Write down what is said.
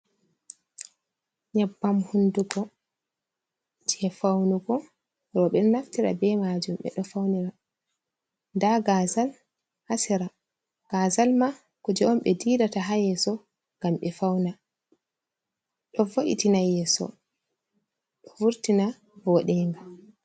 Nyabbam hundugo je faunugo robe naftira be majum be do faunira da gazal ha sera gazal ma kuje on be didata ha yeso ngam be fauna do vo’itina yeso do vurtina bodenga.